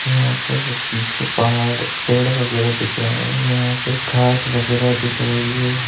और यहाँ पर बीच पहाड़ पेड़ वैगरा दिख रहा है और यहाँ पे घास वैगेरा दिख रही है।